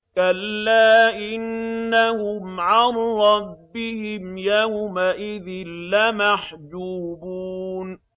كَلَّا إِنَّهُمْ عَن رَّبِّهِمْ يَوْمَئِذٍ لَّمَحْجُوبُونَ